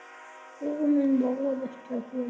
Hugur minn róaðist hjá þér.